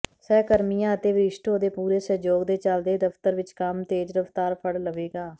ਸਹਕਰਮੀਆਂ ਅਤੇ ਵਰਿਸ਼ਠੋਂ ਦੇ ਪੂਰੇ ਸਹਿਯੋਗ ਦੇ ਚਲਦੇ ਦਫਤਰ ਵਿੱਚ ਕੰਮ ਤੇਜ ਰਫਤਾਰ ਫੜ ਲਵੇਗਾ